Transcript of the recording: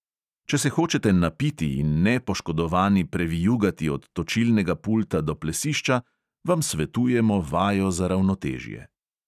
Če se hočete napiti in nepoškodovani previjugati od točilnega pulta do plesišča, vam svetujemo vajo za ravnotežje.